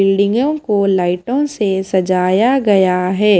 बिल्डिंगों को लाइटों से सजाया गया है।